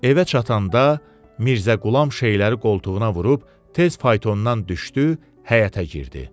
Evə çatanda Mirzə Qulam şeyləri qoltuğuna vurub tez faytondan düşdü, həyətə girdi.